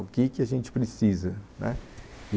O que que a gente precisa, né